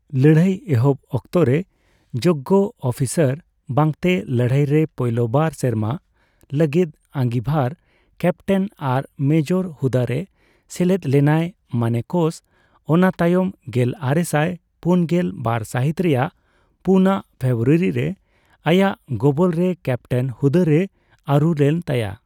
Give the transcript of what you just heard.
ᱞᱟᱹᱲᱦᱟᱹᱭ ᱮᱦᱚᱵ ᱚᱠᱛᱚ ᱨᱮ ᱡᱳᱜᱜᱚ ᱚᱯᱤᱥᱟᱨ ᱵᱟᱝ ᱛᱮ, ᱞᱟᱹᱲᱦᱟᱹᱭ ᱨᱮ ᱯᱳᱭᱞᱳ ᱵᱟᱨ ᱥᱮᱨᱢᱟ ᱞᱟᱹᱜᱤᱫ, ᱟᱹᱜᱤᱸᱵᱷᱟᱨ ᱠᱮᱯᱴᱮᱱ ᱟᱨ ᱢᱮᱡᱚᱨ ᱦᱩᱫᱟᱹᱨᱮ ᱥᱮᱞᱮᱫ ᱞᱮᱱᱟᱭ ᱢᱟᱱᱮᱠᱚᱥ, ᱚᱱᱟ ᱛᱟᱭᱚᱢ ᱜᱮᱞ ᱟᱨᱮᱥᱟᱭ ᱯᱩᱱ ᱜᱮᱞ ᱵᱟᱨ ᱥᱟᱦᱤᱛ ᱨᱮᱭᱟᱜ ᱯᱩᱱ ᱟᱝ ᱯᱷᱮᱵᱨᱩᱟᱨᱤ ᱨᱮ ᱟᱭᱟᱜ ᱜᱚᱵᱚᱞᱨᱮ ᱠᱮᱯᱴᱮᱱ ᱦᱩᱫᱟᱹᱨᱮ ᱟᱨᱩ ᱞᱮᱱ ᱛᱟᱭᱟ ᱾